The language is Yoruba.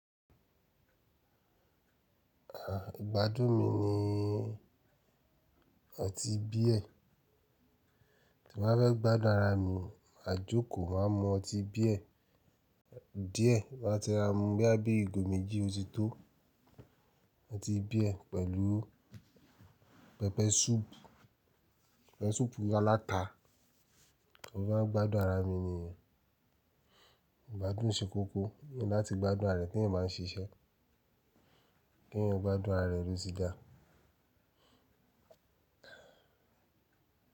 À, ìgbádùn mi ni ọtí bíẹ̀. Tí m bá fẹ́ gbádùn ara mi, màá jókòó, màá mu ọtí bíẹ̀ díẹ̀, bà á tẹ ra mú bí á bí ìgò méjì ó ti tó. Ọtí bíẹ̀ pẹ̀lú pẹpẹ súùpù, pẹpẹ súùpù alata. Mo maa ń gbádùn ara mi ni o ìgbádùn ṣe kókó, láti gbádùn ara rẹ̀ t'ẹ́eyań ba n ṣiṣẹ́, k'eeyan gbádùn ara rẹ̀ ló ti dà.